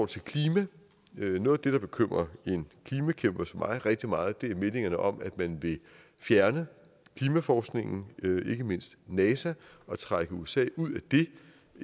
til klimaet noget af det der bekymrer en klimakæmper som mig rigtig meget er meldingerne om at man vil fjerne klimaforskningen ikke mindst nasa og trække usa ud